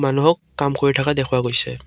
মানুহক কাম কৰি থকা দেখুওৱা গৈছে।